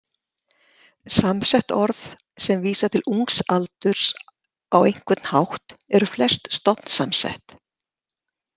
Samsett orð sem vísa til ungs aldurs á einhvern hátt eru flest stofnsamsett.